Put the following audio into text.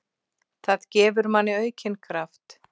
Það gefur manni aukinn kraft.